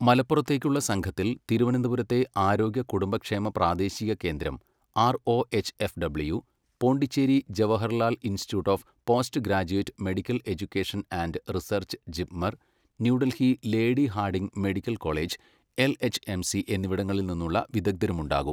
മലപ്പുറത്തേക്കുള്ള സംഘത്തിൽ തിരുവനന്തപുരത്തെ ആരോഗ്യ കുടുംബക്ഷേമ പ്രാദേശിക കേന്ദ്രം ROHFW, Pondicherry Jawaharlal institute of post graduate medical education and research JIPMER, New Delhi lady Hardinge medical college LHMC എന്നിവിടങ്ങളിൽനിന്നുള്ള വിദഗ്ധരുമുണ്ടാകും.